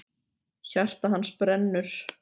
Hjarta hans brennur!